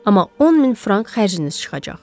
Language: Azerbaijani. Amma 10 min frank xərciniz çıxacaq.